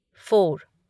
four